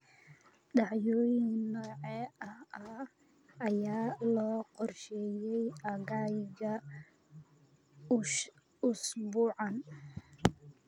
Dhacdooyin noocee ah ayaa loo qorsheeyay aaggayga usbuucan?